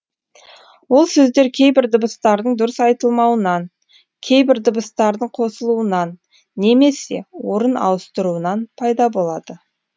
ол сөздер кейбір дыбыстардың дұрыс айтылмауынан кейбір дыбыстардың қосылуынан немесе орын ауыстыруынан пайда болады